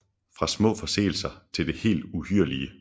Fra små forseelser til det helt uhyrlige